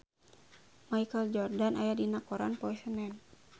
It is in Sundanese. Michael Jordan aya dina koran poe Senen